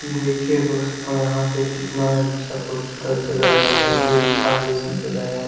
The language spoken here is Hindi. देखिए दोस्तों यहाँ पे कितना अच्छा खूबसूरत जगा है जोकि गुफा जैसी जगह है।